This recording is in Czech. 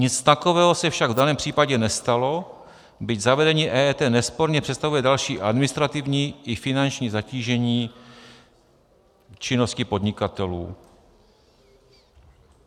Nic takového se však v daném případě nestalo, byť zavedení EET nesporně představuje další administrativní i finanční zatížení činnosti podnikatelů.